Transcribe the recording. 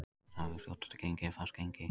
Andstaðan við fljótandi gengi er fast gengi.